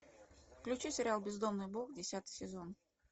включи сериал бездомный бог десятый сезон